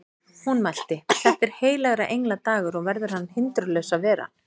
Hún mælti: Þetta er heilagra engla dagur og verður hann hindrunarlaus að vera